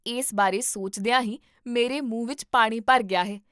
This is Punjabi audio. ਇਸ ਬਾਰੇ ਸੋਚਦਿਆਂ ਹੀ ਮੇਰੇ ਮੂੰਹ ਵਿੱਚ ਪਾਣੀ ਭਰ ਗਿਆ ਹੈ